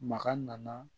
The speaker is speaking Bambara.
Maga nana